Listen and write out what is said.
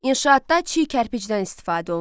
İnşaatda çiy kərpicdən istifadə olunurdu.